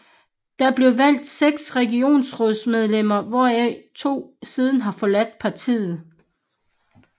Der blev valgt 6 regionsrådsmedlemmer hvoraf 2 siden har forladt partiet